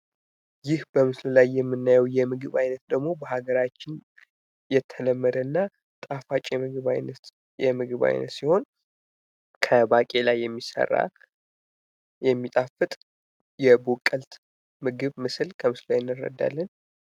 ይህ በምስሉ ላይ የምናየዉ የምግብ አይነት ደግሞ በአገራችን የተለመደ እና ጣፋጭ የምግብ አይነት ሲሆን ከባቄላ የሚሰራ የሚጣጥፍት የቦቀለት ምግብ ምስል ከምስሉ ላይ እንረዳለን።